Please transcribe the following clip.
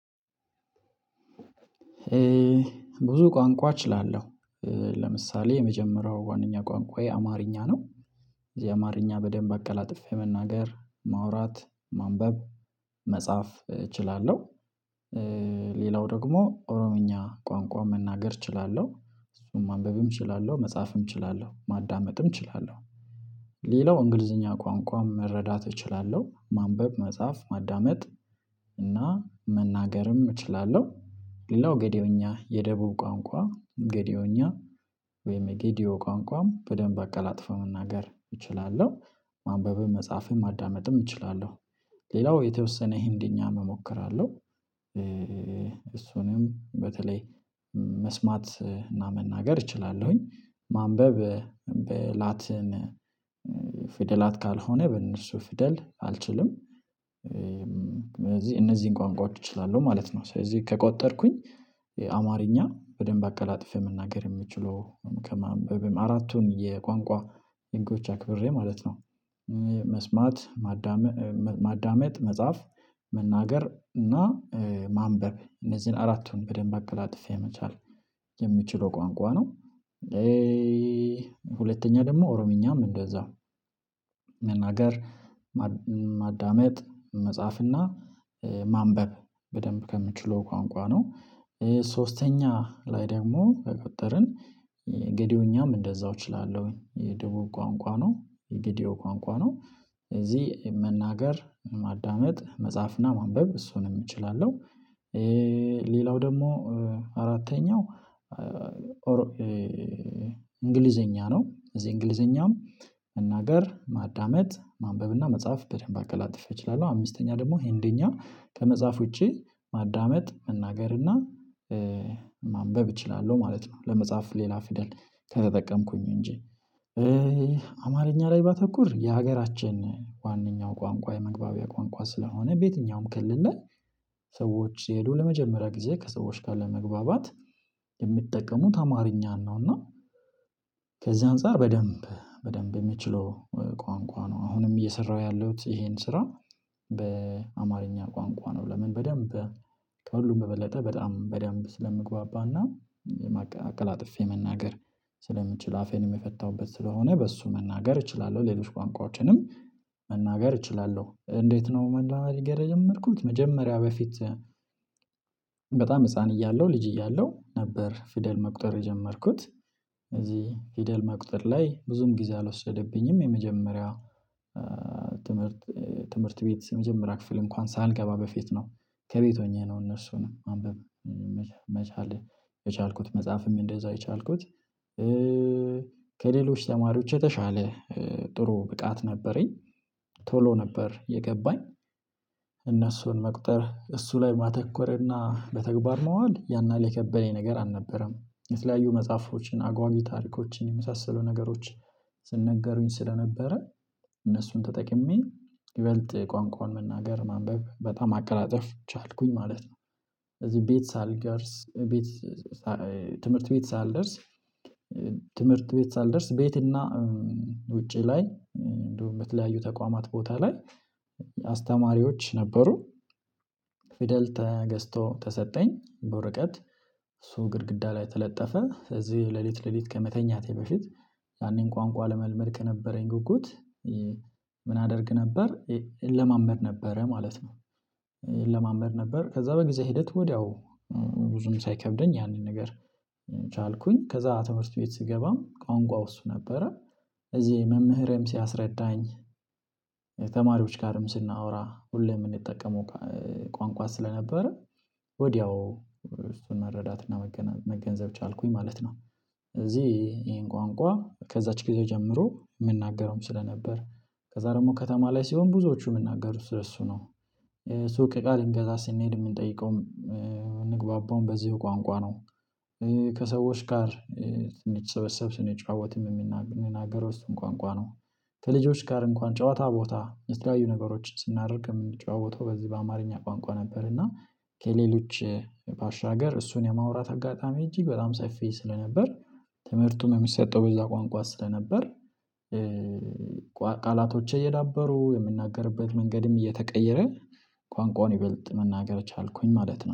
ብዙ ቋንቋ እችላለሁ ለምሳሌ የመጀመሪያው ዋናኛ ቋንቋዬ አማርኛ ነው። እዚህ አማርኛ በደንብ በቀላጥፌ መናገር ማውራት ማንበብ መጻፍ እችላለሁ። ሌላው ደግሞ ኦሮምኛ ቋንቋ መናገር እችላለሁ እሱን ማንበብም እችላለሁ መጻፍም እችላለሁ ማዳመጥም እችላለሁ። ሌላው እንግሊዝኛ ቋንቋም መረዳት እችላለሁ ማንበብ መጻፍ ማዳመጥ እና መናገርም እችላለሁ። ሌላው ጌድዮኛ የደቡብ ቋንቋ ጌድዮኛ። ወይም ጌድዮ ቋንቋም በደንብ አቀላጥፎ መናገር እችላለሁ ማንበብህን መጻፍህን ማዳመጥም እችላለሁ። ሌላው የተወሰነ ህንደኛ መሞከር አለው። እሱንም በተለይ መስማት እና መናገር እችላለሁኝ ማንበብ በላትን ፊደላት ካልሆነ በእነሱ ፍደል አልችልም። እነዚህን ቋንቋዎች እችላለሁ ማለት ነው። ስለዚህ ከቆጠርኩኝ አማርኛ በደንብ አቀላጥፌ መናገር የምችለው ከማንበብም አራቱን የቋንቋ የንጎች አክብሬ ማለት ነው። መስማት ማዳመጥ መጻፍ መናገር እና ማንበብ እነዚህን አራቱን በደንብ አቀላጥፌ የመቻል የሚችለው ቋንቋ ነው። ሁለተኛ ደግሞ ኦሮምኛም እንደዛ መናገር ማዳመጥ መጻፍና ማንበብ በደንብ ከምችለው ቋንቋ ነው። ሶስተኛ ላይ ደግሞ በቀጠርን ገድዮኛም እንደዛው እችላለሁ የደቡብ ቋንቋ ነው የጌዴው ቋንቋ ነው። እዚህ መናገር ማዳመጥ መጽሐፍና ማንበብ እሱንም እችላለሁ። ሌላው ደግሞ አራተኛው እንግሊዘኛ ነው እዚህ እንግሊዘኛም መናገር ማዳመጥ ማንበብና መጽሐፍ በደንብ አቀላጥፌ እችላለሁ። አምስተኛ ደግሞ ሄንደኛ ከመጽሐፍ ውጪ ማዳመጥ መናገርና እና ማንበብ እችላለሁ ማለት ነው። ለመጽሐፍ ሌላ ፊደል ከተጠቀምኩኝ እንጂ አማርኛ ላይ ባተኩር የሀገራችን ዋናኛው ቋንቋ የመግባቢያ ቋንቋ ስለሆነ በየትኛውም ከልል ላይ ሰዎች ሲሄዱ ለመጀመሪያ ጊዜ ከሰዎች ጋር ለመግባባት የምትጠቀሙት አማርኛ ነው። እና ከዚህ አንፃር በደንብ በደንብ የምችለው ቋንቋ ነው። አሁንም እየሰራሁ ያለሁት ይሄን ስራ በአማርኛ ቋንቋ ነው። ለምን በደንብ ከሁሉም በበለጠ በጣም በደንብ ስለምግባባና አቀላጥፌ መናገር ስለምችል አፌን የምፈታውበት ስለሆነ በእሱ መናገር እችላለሁ ሌሎች ቋንቋዎችንም መናገር እችላለሁ እንዴት? ነው መነጋገር የጀመርኩት መጀመሪያ በፊት በጣም ህፃን እያለሁ ልጅ እያለሁ ነበር። ፊደል መቁጠር የጀመርኩት እዚህ ፊደል መቁጠር ላይ ብዙም ጊዜ አልወሰደብኝም። የመጀመሪያው ትምህርት ትምህርት ቤት የመጀመሪያ ክፍል እንኳን ሳንገባ በፊት ነው። ከቤት ሆኜ ነው እነሱን አንብብ መቻል የቻልኩት መጽሐፍም እንደዛው የቻልኩት። ከሌሎች ተማሪዎች የተሻለ ጥሩ ብቃት ነበረኝ። ቶሎ ነበር የገባኝ። እነሱን መቅጠር እሱ ላይ ማተኮርና በተግባር መዋድፈል ያንን ላይ የከበደኝ ነገር አልነበረም። የተለያዩ መጽሐፎችን አጓጊ ታሪኮችን የመሳሰሉ ነገሮች ስነገሩኝ ስለነበረ እነሱን ተጠቅሜ ይበልጥ ቋንቋውን መናገር ማንበብ በጣም አቀራጨፍ ቻልኩኝ ማለት ነው። እዚህ ቤት ሳልደርስ ቤት ትምህርት ቤት ሳልደርስ ትምህርት ቤት ሳልደርስ ቤት እና ውጪ ላይ እንደው በምትለያዩ ተቋማት ቦታ ላይ አስተማሪዎች ነበሩ። ፊደል ተገዝቶ ተሰጠኝ በወረቀት እሱ ግድግዳ ላይ ተለጠፈ ስለዚህ ሌሊት ሌሊት ከመተኛቴ በፊት ያኔን ቋንቋ ለመልመድ ከነበረኝ ጉጉት ምን አደርግ ነበር እለማመድ ነበረ ማለት ነው። እለማመድ ነበር ከዛ በጊዜ ሂደት ወዲያው ብዙም ሳይከብደኝ ያንን ነገር ቻልኩኝ። ከዛ ትምህርት ቤት ስገባም ቋንቋው እሱ ነበረ። እዚህ መምህርም ሲያስረዳኝ ተማሪዎች ጋርም ስናወራ ሁሌም የምንጠቀመው ቋንቋ ስለነበረ ወዲያው እሱን መረዳትና መገንዘብ ቻልኩኝ ማለት ነው። እዚህ ይሄን ቋንቋ ከዛች ጊዜ ጀምሮ የምናገረውም ስለነበር ከዛ ደግሞ ከተማ ላይ ሲሆን ብዙዎቹ የምናገር እሱ ነው። ሱቅ እቃ ልንገዛ ስንሄድ የምንጠይቀውም ምንግባባውም በዚህ ቋንቋ ነው። ከሰዎች ጋር ሰበሰብ ስንጫወትም የምንናገረው እሱን ቋንቋ ነው። ከልጆች ጋር እንኳን ጨዋታ ቦታ የተለያዩዩ ነገሮችን ስናደርግ የምንጨዋወተው በዚህ በአማርኛ ቋንቋ ነበር። እና ከሌሎች ባሻገር እሱን የማውራት አጋጣሚ እጅግ በጣም ሰፊ ስለነበር ትምህርቱም የሚሰጠው በዛ ቋንቋ ስለነበር። ቃላቶቼ እየዳበሩ የምናገርበት መንገድም እየተቀየረ ቋንቋውን ይበልጥ መናገር ቻልኩኝ ማለት ነው